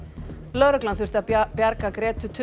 lögreglan þurfti að bjarga